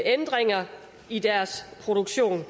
ændringer i deres produktion